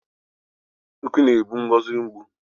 Ukwu na-egbu Ngozi mgbu